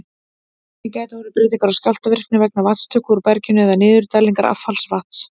Einnig gætu orðið breytingar á skjálftavirkni vegna vatnstöku úr berginu eða niðurdælingar affallsvatns.